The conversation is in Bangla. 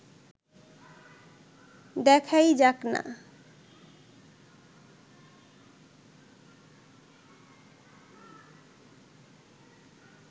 দেখাই যাক-না